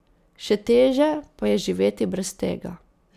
Še teže pa je živeti brez tega.